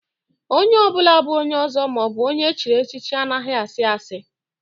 A red cap chief or a titled man doesn't lie